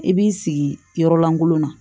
I b'i sigi yɔrɔ lankolo na